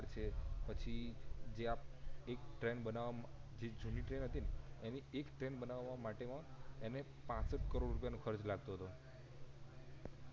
છે પછી જે આ એક ટ્રેન બનવા માં જે જૂની ટ્રેન હતી ને એની એક ટ્રેન બનાવા માટે માં એને પાંસઠ કરોડ રૂપિયાનો ખર્ચ લાગતો હતો